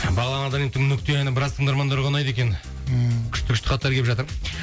бағлан абдраимовтың нүкте әні біраз тыңдармандарға ұнайды екен ыыы күшті күшті хаттар келіп жатыр